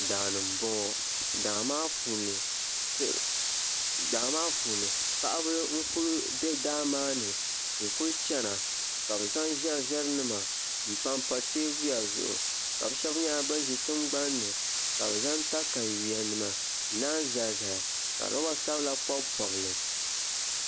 Daani n boŋo daa maa puuni paɣaba n ku bɛ daa maa ni n kuli chɛna ka bi zaŋ ʒɛri ʒɛri nima n panpa teebuya zuɣu ka bi shab nyɛla bin ʒi tingabanni ka bi zaŋ katawiya nima n zalizali ka roba sabila pobipobi li